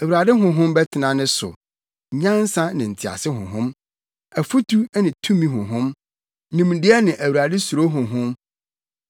Awurade Honhom bɛtena ne so, nyansa ne ntease Honhom, afotu ne tumi Honhom, nimdeɛ ne Awurade suro Honhom,